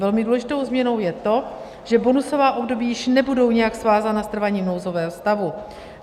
Velmi důležitou změnou je to, že bonusová období již nebudou nijak svázána s trváním nouzového stavu.